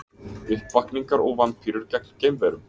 Uppvakningar og vampírur gegn geimverum